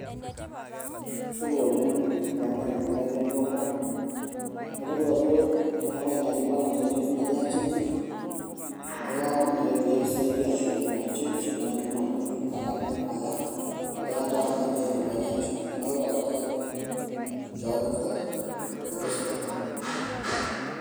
Supa oleng olamerani lai lolduka atodua ajo atung'uai naaji balance tene eitu naaji aya chenchi neeku kaomonu pee kisaidia ashukoki ina chenchi amu eitu naaji adamu aya ,enadiikata atiiene pee ainyiang'isho neeku tapasali njooki tenkoitoi sidai.